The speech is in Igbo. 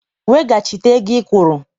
Weghachite ego ị kwụrụ!